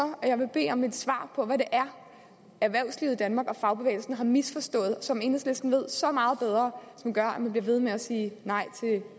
jeg vil bede om et svar på hvad det er erhvervslivet i danmark og fagbevægelsen har misforstået og som enhedslisten ved så meget bedre gør at man bliver ved med at sige nej til